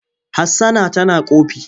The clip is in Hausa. Hassana tana ƙofi.